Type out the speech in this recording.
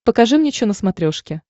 покажи мне чо на смотрешке